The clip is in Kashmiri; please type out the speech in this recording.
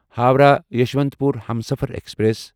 ہووراہ یسوانتپور ہمسفر ایکسپریس